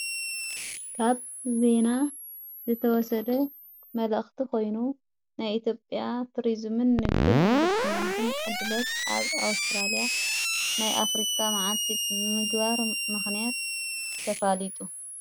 ካብ ቤና ዘተወሰደ መላእኽቲ ኾይኑ ናይ ኢቲጴያ ቱርዝምን ንግድን ኢንፈስቲመንትን ዕድለት ኣብ ኣውስጥራልያ ናይ ኣፍሪካ መዓቲ ምግባሮ ምኽንያት ተፋሊጡ።